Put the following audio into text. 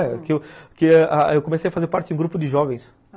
É, que eu comecei a fazer parte de um grupo de jovens.